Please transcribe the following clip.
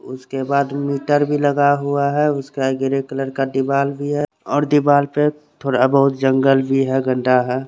उसके बाद मीटर भी लगा हुआ है उसका ग्री कलर का दीवाल भी है और दीवाल पे थोड़ा जंगल भी है गड्डा है ।